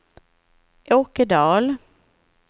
Åke Dahl